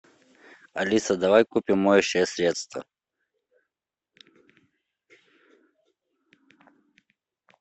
алиса давай купим моющее средство